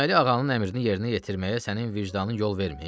Deməli, ağanın əmrini yerinə yetirməyə sənin vicdanın yol vermir?